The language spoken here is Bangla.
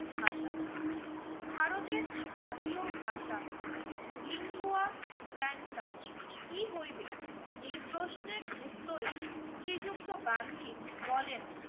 ভাষা, ভারতের জাতীয় ভাষা লিঙ্গুয়া ফ্র্যান্টাক কি হইবে এই প্রশ্নের উত্তরে শ্রীযুক্ত গান্ধী বলেন